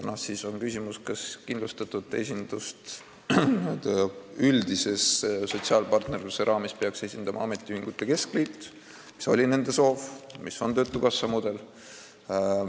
Siis on küsimus, kas kindlustatuid peaks üldise sotsiaalpartnerluse raames esindama ametiühingute keskliit, nagu oli nende soov ja mis on töötukassa mudel.